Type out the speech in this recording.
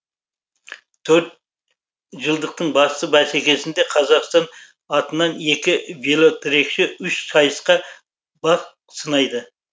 төрт жылдықтың басты бәсекесінде қазақстан атынан екі велотрекші үш сайысқа бақ сынайды